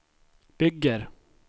bygger